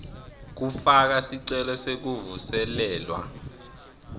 kufaka sicelo sekuvuselelwa